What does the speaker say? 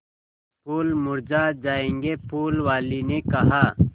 फूल मुरझा जायेंगे फूल वाली ने कहा